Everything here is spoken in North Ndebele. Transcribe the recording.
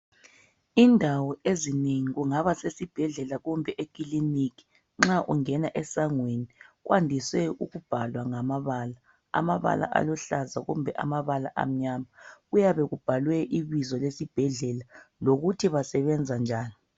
Indawo ezinengi kungaba kusesibhedlela kumbe eklinika nxa ungena esangweni kwandise ukubhalwa ngamabala , amabala aluhlaza kumbe amabala amnyama kuyabe kubhaliwe ibizo lesibhedlela lokuthi basebenze njani.